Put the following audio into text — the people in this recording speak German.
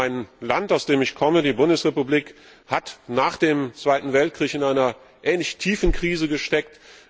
Das Land, aus dem ich komme, die Bundesrepublik, hat nach dem Zweiten Weltkrieg in einer ähnlich tiefen Krise gesteckt.